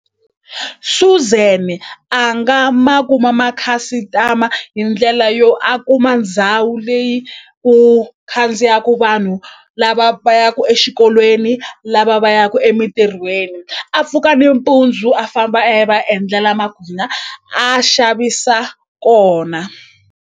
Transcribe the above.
Suzan a nga ma kuma makhasitama hi ndlela yo a kuma ndhawu leyi ku khandziyaku vanhu lava va yaku exikolweni lava va yaku emintirhweni a pfuka nimpundzu a famba a ya endlala a xavisa kona.